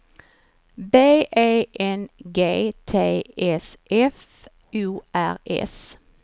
B E N G T S F O R S